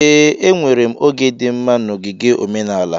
Ee, enwere m oge dị mma na ogige omenala.